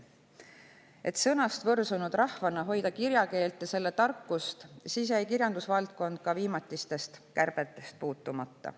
Et sõnast võrsunud rahvana hoida kirjakeelt ja selle tarkust, jäi kirjandusvaldkond ka viimatistest kärbetest puutumata.